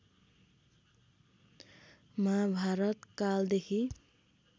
महाभारत कालदेखि